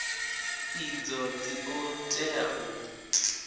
idzo dzi ḓo tea u